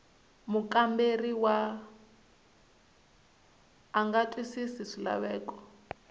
mukamberiwa a nga twisisi swilaveko